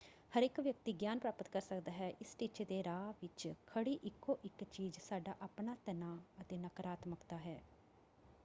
ਹਰੇਕ ਵਿਅਕਤੀ ਗਿਆਨ ਪ੍ਰਾਪਤ ਕਰ ਸਕਦਾ ਹੈ। ਇਸ ਟੀਚੇ ਦੇ ਰਾਹ ਵਿੱਚ ਖੜੀ ਇਕੋ ਇੱਕ ਚੀਜ਼ ਸਾਡਾ ਆਪਣਾ ਤਣਾਅ ਅਤੇ ਨਕਾਰਾਤਮਕਤਾ ਹੈ।